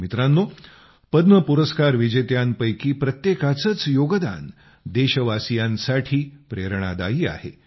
मित्रांनो पद्म पुरस्कार विजेत्यांपैकी प्रत्येकाचेच योगदान देशवासीयांसाठी प्रेरणादायी आहे